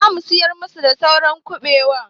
Za mu sayar masu da saura kuɓewa.